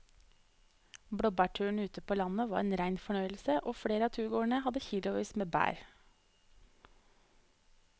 Blåbærturen ute på landet var en rein fornøyelse og flere av turgåerene hadde kilosvis med bær.